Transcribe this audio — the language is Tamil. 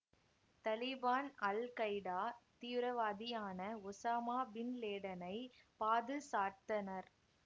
தலீபான் அல்கைடா தீவிரவாதியான ஒசாமா பின் லேடன்னை பாதுசாட்தனர்